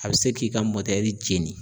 A bɛ se k'i ka jeni